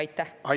Aitäh!